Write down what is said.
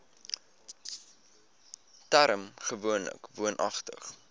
term gewoonlik woonagtig